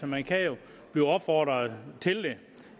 man kan jo blive opfordret til det